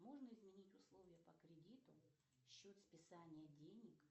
можно изменить условия по кредиту счет списания денег